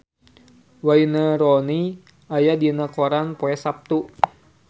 Wayne Rooney aya dina koran poe Saptu